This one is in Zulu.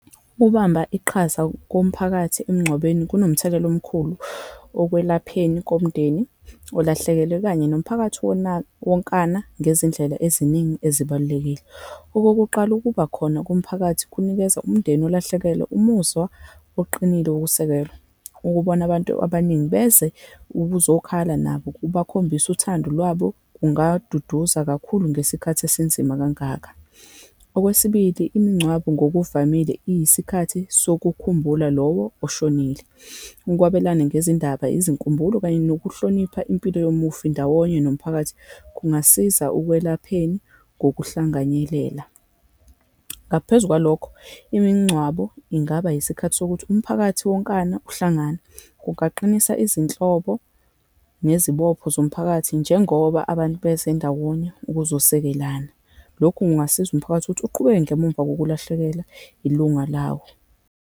Ukubamba iqhaza komphakathi emngcwabeni kunomthelela omkhulu okwelapheni komndeni olahlekelwe, okanye nomphakathi wona wonkana, ngezindlela eziningi ezibalulekile. Okokuqala, ukuba khona komphakathi kunikeza umndeni ulahlekelwe umuzwa oqinile wokusekelwa. Ukubona abantu abaningi beze ukuzokhala nabo kubakhombisa uthando lwabo, kungaduduza kakhulu ngesikhathi esinzima kangaka. Okwesibili, imingcwabo ngokuvamile iyisikhathi sokukhumbula lowo oshonile, ukwabelana ngezindaba, izinkumbulo, kanye nokuhlonipha impilo yomufi ndawonye nomphakathi, kungasiza ukwelapheni ngokuhlanganyelela. Ngaphezu kwalokho, imingcwabo ingaba isikhathi sokuthi umphakathi wonkana uhlangane. Kungaqinisa izinhlobo nezibopho zomphakathi, njengoba abantu beze ndawonye ukuzosekelana. Lokhu kungasiza umphakathi ukuthi uqhubeke ngemuva kokulahlekelwa ilunga lawo.